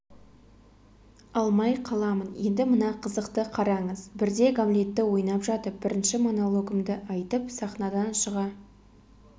алмай қаламын енді мына қызықты қараңыз бірде гамлетті ойнап жатып бірінші монологымды айтып сахнадан шыға